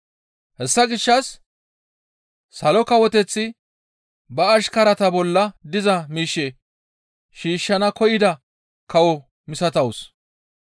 «Hessa gishshas Salo Kawoteththi ba ashkarata bolla diza miishshe shiishshana koyida kawo misatawus.